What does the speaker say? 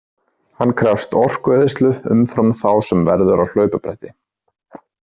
Hann krefst orkueyðslu umfram þá sem verður á hlaupabretti.